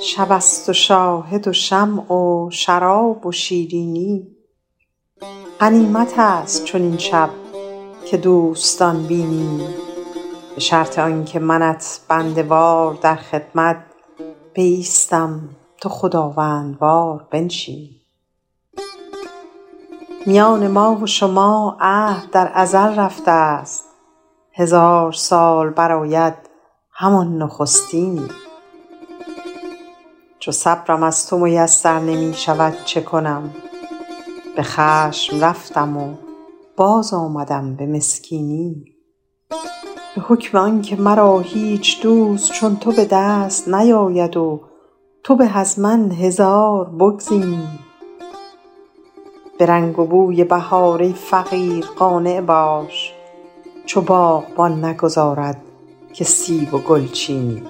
شب است و شاهد و شمع و شراب و شیرینی غنیمت است چنین شب که دوستان بینی به شرط آن که منت بنده وار در خدمت بایستم تو خداوندوار بنشینی میان ما و شما عهد در ازل رفته ست هزار سال برآید همان نخستینی چو صبرم از تو میسر نمی شود چه کنم به خشم رفتم و باز آمدم به مسکینی به حکم آن که مرا هیچ دوست چون تو به دست نیاید و تو به از من هزار بگزینی به رنگ و بوی بهار ای فقیر قانع باش چو باغبان نگذارد که سیب و گل چینی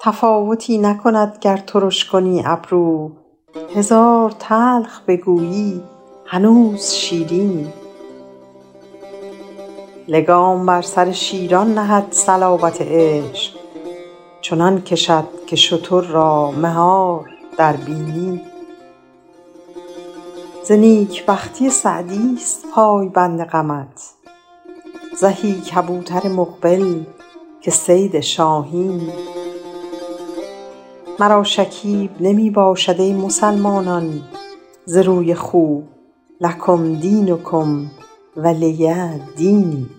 تفاوتی نکند گر ترش کنی ابرو هزار تلخ بگویی هنوز شیرینی لگام بر سر شیران کند صلابت عشق چنان کشد که شتر را مهار در بینی ز نیک بختی سعدی ست پایبند غمت زهی کبوتر مقبل که صید شاهینی مرا شکیب نمی باشد ای مسلمانان ز روی خوب لکم دینکم ولی دینی